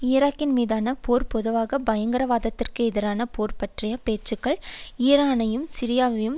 ஈராக்கின் மீதான போர் பொதுவாக பயங்கரவாதத்திற்கு எதிரான போர் பற்றிய பேச்சுக்கள் ஈரானையும் சிரியாவையும்